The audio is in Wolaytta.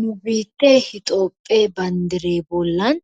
Nu biittee Hitoophe banddre bollan